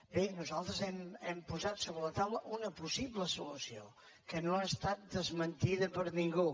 bé nosaltres hem posat sobre la taula una possible so·lució que no ha estat desmentida per ningú